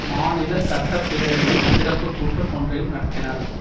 மாநில சட்ட பேரவையின் சிறப்புக்கூட்டம் ஒன்றையும் நடத்தினார்